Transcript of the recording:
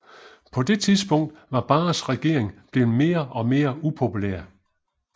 På det tidspunkt var Barres regering blevet mere og mere upopulær